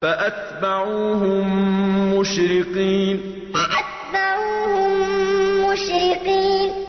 فَأَتْبَعُوهُم مُّشْرِقِينَ فَأَتْبَعُوهُم مُّشْرِقِينَ